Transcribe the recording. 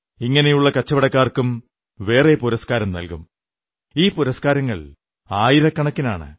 ഇങ്ങനെയുള്ള കച്ചവടക്കാർക്കും വേറെ പുരസ്കാരം നല്കും ഈ പുരസ്കാരങ്ങൾ ആയിരക്കണക്കിനാണ്